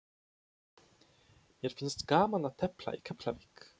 Mér finnst gaman að tefla í Keflavík.